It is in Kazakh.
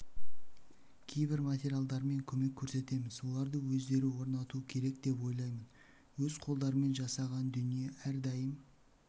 кейбір материалдармен көмек көрсетеміз оларды өздері орнатуы керек деп ойлаймын өз қолдарымен жасаған дүние әрдайым